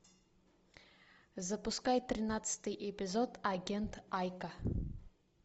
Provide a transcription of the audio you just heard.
запускай тринадцатый эпизод агент айка